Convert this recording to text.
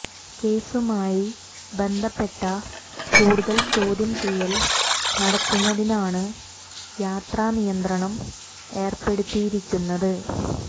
കേസുമായി ബന്ധപ്പെട്ട കൂടുതൽ ചോദ്യം ചെയ്യൽ നടത്തുന്നതിനാണ് യാത്രാ നിയന്ത്രണം ഏർപ്പേടുത്തിയിരിക്കുന്നത്